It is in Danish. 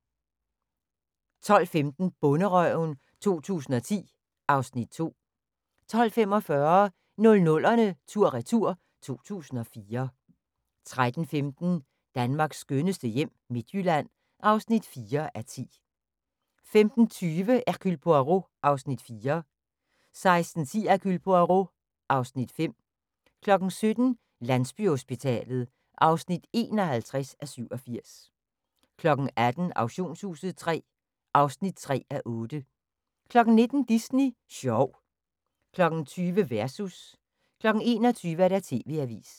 12:15: Bonderøven 2010 (Afs. 2) 12:45: 00'erne tur/retur: 2004 13:15: Danmarks skønneste hjem - Midtjylland (4:10) 15:20: Hercule Poirot (Afs. 4) 16:10: Hercule Poirot (Afs. 5) 17:00: Landsbyhospitalet (51:87) 18:00: Auktionshuset III (3:8) 19:00: Disney sjov 20:00: Versus 21:00: TV-avisen